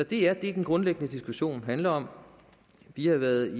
det er det den grundlæggende diskussion handler om vi har været